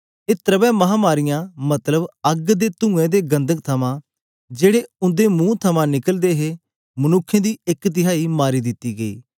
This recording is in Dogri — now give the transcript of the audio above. ए त्रैवे महामारीयां मतलब अग्ग ते तूंऐं ते गंधक थमा जेड़े उंदे मुंह थमां निकलदे हे मनुक्खें दी एक तिहाई मारी दिती गई